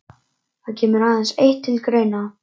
Það kemur aðeins eitt til greina.